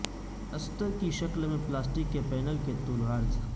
استر کی شکل میں پلاسٹک کے پینل کے طول و عرض